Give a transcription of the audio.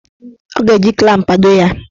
Ọ ga-eji klamp kpado ya.